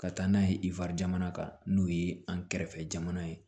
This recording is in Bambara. Ka taa n'a ye ifrijamana kan n'o ye an kɛrɛfɛ jamana ye